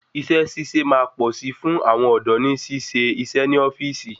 Isé síse máa pọ̀ sí fún àwọn ọ̀dọ́ ni sì ṣe iṣẹ ni ofíìsì